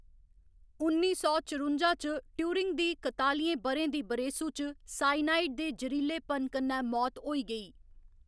उन्नी सौ चरुंजा च, ट्यूरिंग दी कतालियें ब'रें दी बरेसू च साइनाइड दे जरीलेपन कन्नै मौत होई गेई।